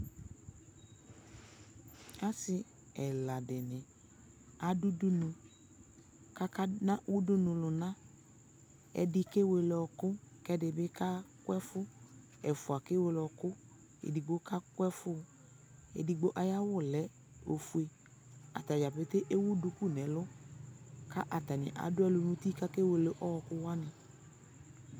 Asi ɛla di ni adʋ udunu kakana udunu luna Ɛdι kewele ɔɔkʋ kʋ ɛdι kakʋ ɛfʋ Ɛfua kewele ɔɔku kʋ edigbo kaku ɛfu Edigbo ayʋ awu lɛ ofue Atadza pete ewu duku nʋ ɛlʋ ka atani adʋ ɛlʋ nʋ uti kakewele ɔɔkʋ wani